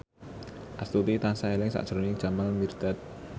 Astuti tansah eling sakjroning Jamal Mirdad